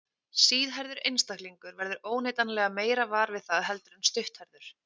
Síðhærður einstaklingur verður óneitanlega meira var við það heldur en stutthærður.